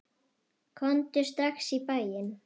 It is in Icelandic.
Komdu strax í bæinn.